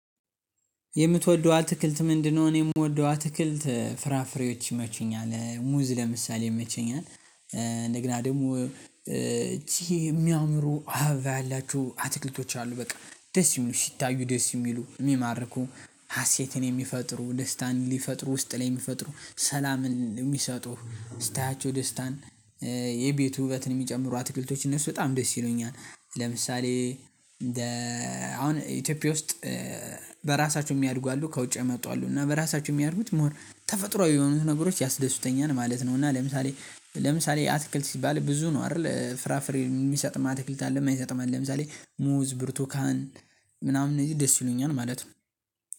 የምትወደው አትክልት ምንድነው? እኔ የምወደው አትክልት ፍራፍሬዎች ይመቹኛል። ሙዝ ለምሳሌ ይመቸኛል። እንደገና ደግሞ ይቺ የሚያምሩ አባ ያላቸው አትክልቶች አሉ በቃ። ደስ የሚሉ ሲታዩ ደስ የሚሉ የሚማርኩ ሀሴትን የሚፈጥሩ ደስታን ሊፈጥሩ ውስጥ ላይ የሚፈጥሩ ሰላምን የሚሰጡ። ስታያቸው ደስታን የቤቱ ውበትን የሚጨምሩ አትክልቶችን እነሱ በጣም ደስ ይሉኛል። ለምሳሌ አሁን ኢትዮጵያ ውስጥ በራሳቸው የሚያድጉ አሉ። ከውጪ የመጡ አሉ። እና በራሳቸው የሚያድጉት 'ሞር' ተፈጥሮአዊ የሆኑት ነገሮች ያስደሱተኛል ማለት ነው። እና ለምሳሌ ለምሳሌ አትክልት ሲባል ብዙ ነው አይደል? ፍራፍሬ የሚሰጥም አትክልት አለ የማይሰጥም አለ ለምሳሌ ሙዝ፣ ብርቱካን ምናምን እንደዚህ ደስ ይሉኛል ማለት ነው።